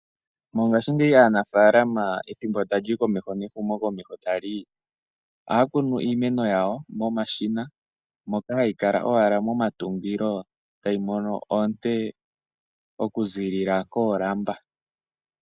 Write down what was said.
Mongashingeyi aanafaalama ethimbo sho tali humu komeho ohaya kunu iimeno yawo momashina moka hayi kala owala momatungilo tayi mono oonte oku ziilila koolamba.